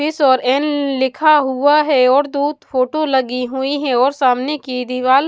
इस और न लिखा हुआ है और दूध फोटो लगी हुईं हैं और सामने की दीवाल --